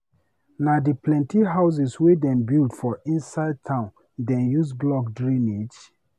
Na di plenty houses wey dem build for inside town dem use block drainage.